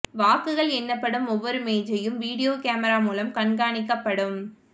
வாக்குகள் எண்ணப்படும் ஒவ்வொரு மேஜையும் வீடியோ கேமரா மூலம் கண்காணிக்கப்படும்